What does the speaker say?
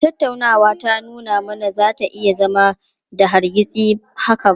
A'a, tattaunawa ta lumana ba za ta iya zama da hargitsi haka ba.